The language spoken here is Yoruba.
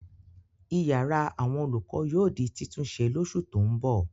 Ìyàrá àwọn olùkọ́ yóò di títúnṣe lóṣù tó ń bọ̀.